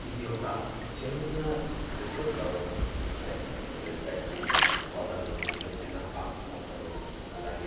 ఇది ఒక చిన్న రిసర్ట్ లాగుంది అయితే ఇక్కడ గడ్డి పొదలు చిన్న చిన్న ఆకు మొక్కలు అలాగే--